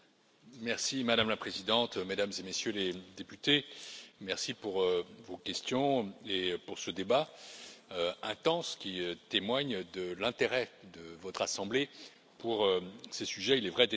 Madame la Présidente, Mesdames et Messieurs les députés, merci pour vos questions et pour ce débat intense, qui témoigne de l'intérêt de votre assemblée pour ces sujets, il est vrai déterminants.